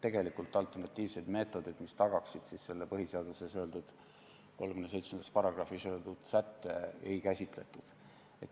Tegelikult alternatiivseid meetodeid, mis tagaksid põhiseaduse §-s 37 olevat põhimõtet, ei käsitletud.